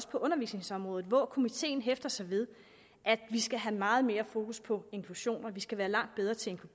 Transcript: på undervisningsområdet hvor komiteen hæfter sig ved at vi skal have meget mere fokus på inklusioner vi skal være langt bedre til at